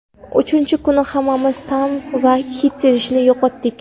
Uchinchi kuni hammamiz ta’m va hid sezishni yo‘qotdik.